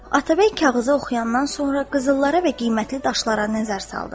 Atabəy kağızı oxuyandan sonra qızıllara və qiymətli daşlara nəzər saldı.